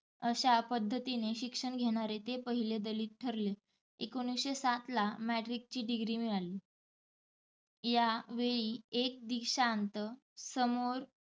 अश्या पध्दतीने शिक्षण घेणारे ते पहिले दलित ठरले. एकोणिसशे सातला matric ची degree मिळाली. या वेळी एक दिक्षांत समारोह